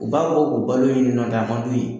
U b'a fɔ u balolen ɲɛna nk'a mand'u ye.